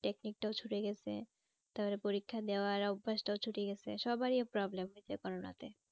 Technic টাও ছুটে গেছে। তাদের পরিক্ষা দেওয়ার অভ্যাসটাও ছুটে গেছে সবাইয়ের problem হয়েছে করানোতে।